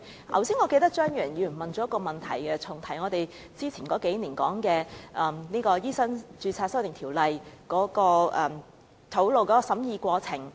我記得張宇人議員剛才重提數年前有關醫生註冊的修訂條例草案的審議過程。